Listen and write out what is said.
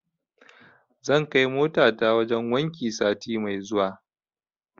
Zan kai motata wajen wanki sati mai zuwa.